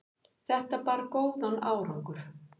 þetta bar góðan árangur